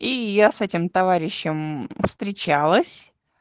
и я с этим товарищем встречалась